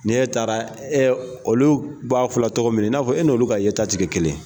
N'ie taara olu b'a fɔla tɔgɔ min i n'a fɔ e nolu ka ye ta tɛ kɛ kelen ye.